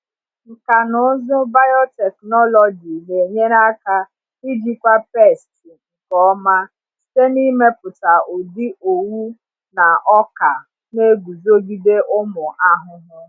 Nkà na ụzụ biotechnology na-enyere aka ijikwa pesti nke ọma site n’ịmepụta ụdị owu na ọka na-eguzogide ụmụ ahụhụ.